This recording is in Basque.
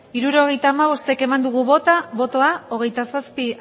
hirurogeita hamabost eman dugu bozka hogeita zazpi